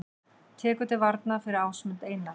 Tekur til varna fyrir Ásmund Einar